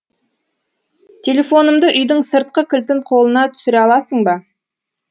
телефонымды үйдің сыртқы кілтін қолыңа түсіре аласың ба